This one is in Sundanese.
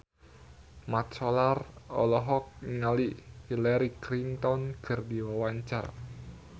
Mat Solar olohok ningali Hillary Clinton keur diwawancara